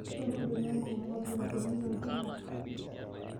Shomo indong'o enkurumwa oolunkuni te oltinka.